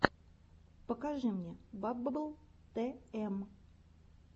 покажи мне баббл тм